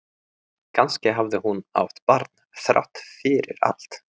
Kannski hafði hún átt barn þrátt fyrir allt.